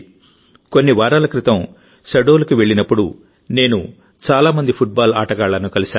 కొన్ని వారాల క్రితం శహడోల్ కి వెళ్ళినప్పుడునేను చాలా మంది ఫుట్బాల్ ఆటగాళ్లను కలిశాను